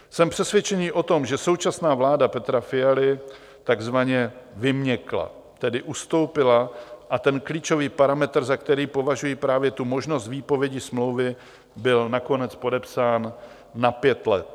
Jsem přesvědčený o tom, že současná vláda Petra Fialy takzvaně vyměkla, tedy ustoupila, a ten klíčový parametr, za který považuji právě tu možnost výpovědi smlouvy, byl nakonec podepsán na pět let.